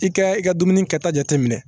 I kɛ i ka dumuni kɛta jate minɛ